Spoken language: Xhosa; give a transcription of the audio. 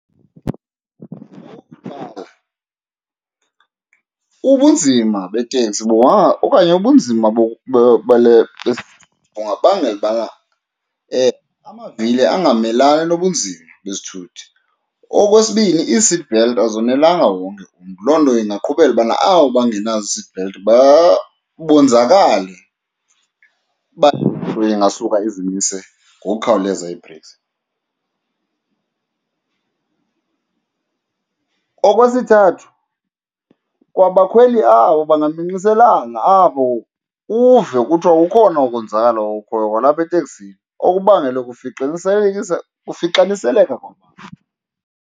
Ubunzima beteksi okanye ubunzima bale bungabangela ubana amavili angamelani nobunzima bezithuthi. Okwesibini, ii-seatbelt azonelanga wonke umntu, loo nto ingaqhubela ubana abo bangenazo ii-seatbelt bonzakale uba le ingasuka izimise ngokukhawuleza ii-breaks. Okwesithathu, kwa bakhweli abo bangaminxiselana abo uve kuthiwa ukhona umonzakalo okhoyo kwalapha eteksini okubangelwe kufixaniseleka kwabantu.